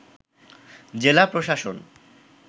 জেলা প্রশাসন